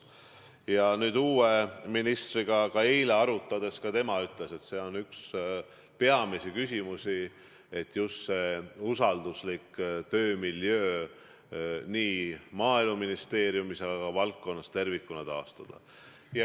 Ja kui ma nüüd uue ministriga eile asja arutasin, siis ka tema ütles, et üks peamisi küsimusi on, et usalduslik töömiljöö nii Maaeluministeeriumis kui ka valdkonnas tervikuna tuleb taastada.